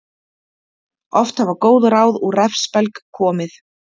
Oft hafa góð ráð úr refsbelg komið.